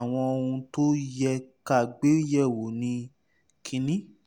mo rò pé àwọn ohun tó yẹ ká gbé yẹ̀wò ni 1